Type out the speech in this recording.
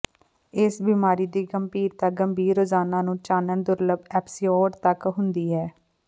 ਇਸ ਬਿਮਾਰੀ ਦੀ ਗੰਭੀਰਤਾ ਗੰਭੀਰ ਰੋਜ਼ਾਨਾ ਨੂੰ ਚਾਨਣ ਦੁਰਲੱਭ ਐਪੀਸੋਡ ਤੱਕ ਹੁੰਦੀ ਹੈ